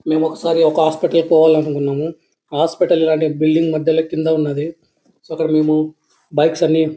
మేము ఒకసారి ఒక హాస్పటల్ పోవాలనుకున్నాను హాస్పిటల్ బిల్డింగ్ ల కింద ఉన్నదీ. సో అక్కడ మనము బైక్స్ అన్ని--